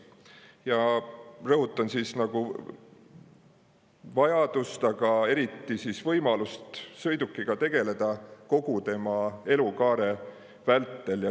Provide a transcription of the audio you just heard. Ja rõhutan vajadust, aga eriti võimalust sõidukiga tegeleda kogu tema elukaare vältel.